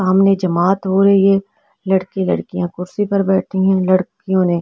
सामने जमात हो रही है लड़की लड़कियाँ कुर्सी पर बैठी है लड़कियो ने।